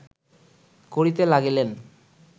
করিতে লাগিলেন